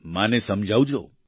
માતાને સમજાવજો